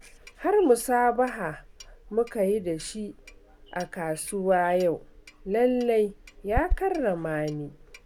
Har musabiha muka yi da shi a kasuwa yau, lallai ya karrama ni